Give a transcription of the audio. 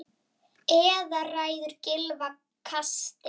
Eða ræður kylfa kasti?